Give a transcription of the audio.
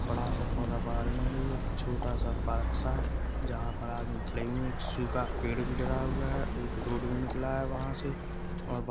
बड़ा सा पौधा बाहर में भी छोटा सा पार्क सा है जहाँ पर आदमी क्ले में एक सूखा पेड़ भी डरा हुआ है और एक रोड भी निकला है वहाँ से और बा --